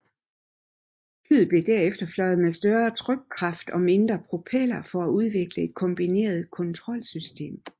Flyet blev derefter fløjet med større trykkraft og mindre propeller for at udvikle et kombineret kontrolsystem